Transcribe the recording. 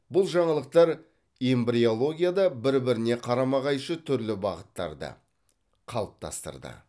бұл жаңалықтар эмбриологияда бір біріне қарама қайшы түрлі бағыттарды қалыптастырды